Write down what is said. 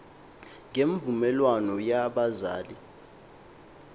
ngemvu melwano yabazali